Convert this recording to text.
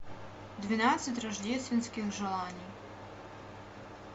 двенадцать рождественских желаний